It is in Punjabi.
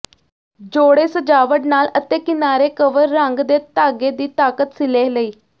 ਜੋੜੇ ਸਜਾਵਟ ਨਾਲ ਅਤੇ ਕਿਨਾਰੇ ਕਵਰ ਰੰਗ ਦੇ ਧਾਗੇ ਦੀ ਤਾਕਤ ਸਿਲੇ ਲਈ